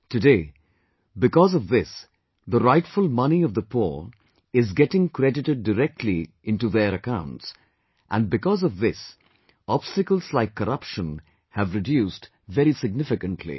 Today, because of this the rightful money of the poor is getting credited directly into their accounts and because of this, obstacles like corruption have reduced very significantly